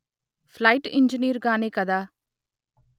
plight engineer గానే కదా